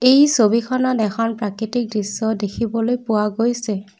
এই ছবিখনত এখন প্ৰাকৃতিক দৃশ্য দেখিবলৈ পোৱা গৈছে।